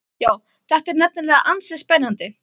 Já, þetta er nefnilega ansi spennandi.